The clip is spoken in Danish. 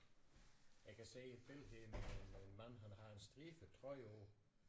Jeg kan se et billede her med en mand han har en stribet trøje på